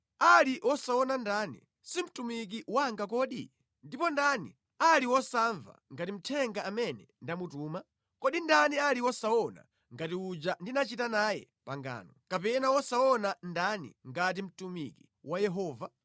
Ali wosaona ndani, si mtumiki wanga kodi? Ndipo ndani ali wosamva ngati mthenga amene ndamutuma? Kodi ndani ali wosaona ngati uja ndinachita naye pangano, kapena wosaona ndani ngati mtumiki wa Yehova?